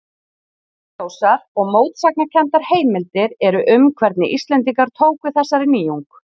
Óljósar og mótsagnakenndar heimildir eru um hvernig Íslendingar tóku þessari nýjung.